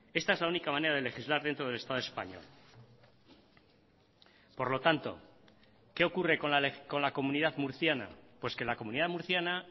esta es la única manera de legislar dentro del estado español por lo tanto qué ocurre con la comunidad murciana pues que la comunidad murciana